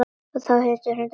Og þá hrundi hann bara.